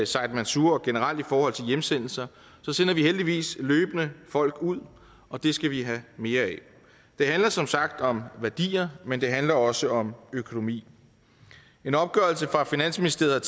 said mansour og generelt i forhold til hjemsendelser sender vi heldigvis løbende folk ud og det skal vi have mere af det handler som sagt om værdier men det handler også om økonomi en opgørelse fra finansministeriet